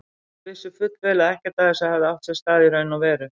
Þeir vissu fullvel að ekkert af þessu hefði átt sér stað í raun og veru.